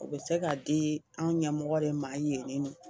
U bɛ se k'a di anw ɲɛmɔgɔ de ma yen ni nɔ.